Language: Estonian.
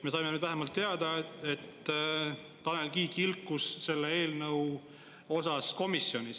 Me saime nüüd vähemalt teada, et Tanel Kiik ilkus selle eelnõu osas komisjonis.